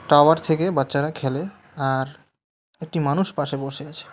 Tower থেকে বাচ্চারা খেলে আর একটি মানুষ পাশে বসে আছে।